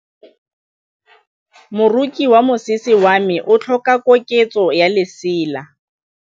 Moroki wa mosese wa me o tlhoka koketsô ya lesela.